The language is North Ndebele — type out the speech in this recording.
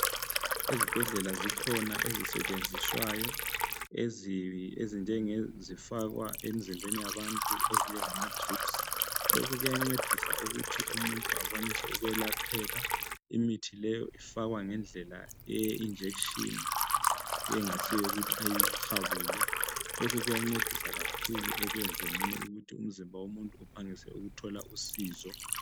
Ezibhedlela zikhona ezisetshenziswayo ezinjengezifakwa emzimbeni yabantu ezinjengama drips. lokhu kuyancedisa ukuthi umuntu akwanise ukwelapheka. imithi leyi ifakwa ngendlela ye injection engasiyo ukuthi ayi habule lokhu kuyancedisa kakhulu ekwenzeni ukuthi umzimba womuntu uphangise ukuthola usizo.